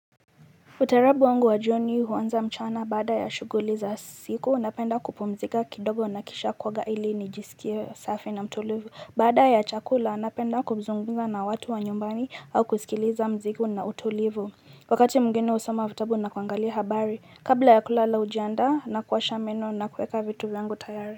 Utarabu wangu wa jioni huanza mchana baada ya shughuli za siku napenda kupumzika kidogo na kisha kuoga ili ni nijisikie safi na mtulivu. Baada ya chakula napenda kuzungumza na watu wa nyumbani au kusikiliza mziki una utulivu. Wakati mwingine husoma vitabu na kuangalia habari. Kabla ya kulala hujiandaa na kuosha meno na kuweka vitu vyangu tayari.